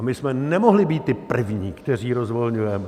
A my jsme nemohli být ti první, kteří rozvolňujeme.